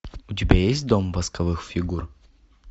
у тебя есть дом восковых фигур